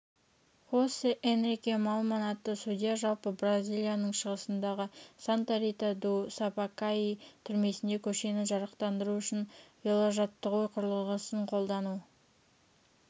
хосе энрике маллманн атты судья жылы бразиялияның шығысындағы санта-рита-ду-сапакаи түрмесінде көшені жарықтандыру үшін веложаттығу құрылғысын қолдану